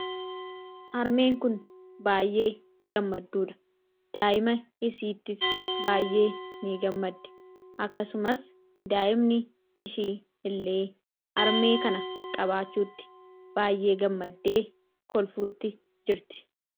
Harmeen kun baayyee gammadduudha daa'ima isiittis baayyee ni gammaddii akkasumas daa'imni ishii illee harmee kana qabaachuutti baayyee gammaddee kolfuutti jirti